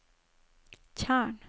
tjern